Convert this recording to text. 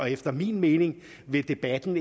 efter min mening vil debatten